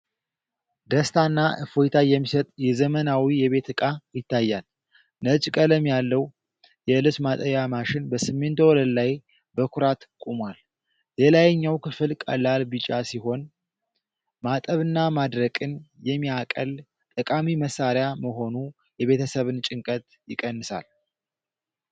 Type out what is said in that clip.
ደስታና እፎይታ የሚሰጥ የዘመናዊ የቤት ዕቃ ይታያል። ነጭ ቀለም ያለው የልብስ ማጠቢያ ማሽን በሲሚንቶ ወለል ላይ በኩራት ቆሟል። የላይኛው ክፍል ቀላል ቢጫ ሲሆን፣ ማጠብና ማድረቅን የሚያቀል ጠቃሚ መሣሪያ መሆኑ የቤተሰብን ጭንቀት ይቀንሳል።